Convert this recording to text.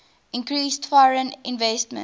increased foreign investment